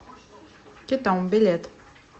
кетом билет